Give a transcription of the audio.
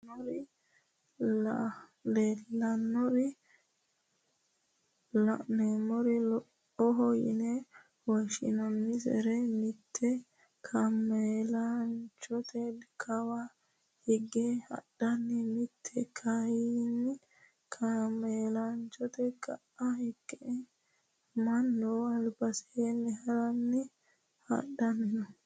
Misilete aana la`neemori laloho yine woshinanisari mite kaaamelanchote kawaa hige hadhanna mite kayini kaamelanchote ka`a higge manu albasee harana hadhani no.